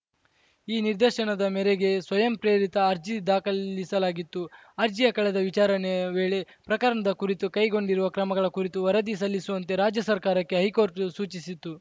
ಈ ನಿರ್ದೇಶನದ ಮೇರೆಗೆ ಸ್ವಯಂಪ್ರೇರಿತ ಅರ್ಜಿ ದಾಖಲಿಸಲಾಗಿತ್ತು ಅರ್ಜಿಯ ಕಳೆದ ವಿಚಾರಣೆ ವೇಳೆ ಪ್ರಕರಣದ ಕುರಿತು ಕೈಗೊಂಡಿರುವ ಕ್ರಮಗಳ ಕುರಿತು ವರದಿ ಸಲ್ಲಿಸುವಂತೆ ರಾಜ್ಯ ಸರ್ಕಾರಕ್ಕೆ ಹೈಕೋರ್ಟ್‌ ಸೂಚಿಸಿತ್ತು